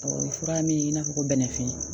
O ye fura min ye i n'a fɔ ko bɛnɛfin